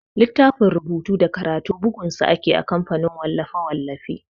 Littafin rubutu da karatu bugun sa ake a kamfanin wallafe-wallafe.